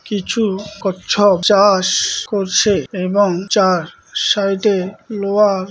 কিছু-উ কচ্ছপ চা-আষ করছে এবং চার সাইটে লোহার--